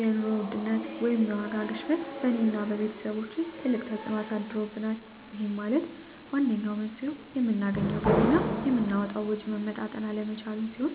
የኑሮ ውድነት ወይም የዋጋ ግሽበት በእኔ እና በቤተሰቦቸ ትልቅ ተፅእኖ አሳድሮብናል ይህም ማለት ዋነኛው መንስኤው የምናገኘው ገቢ እና የምናወጣው ወጪ መመጣጠን አለመቻሉን ሲሆን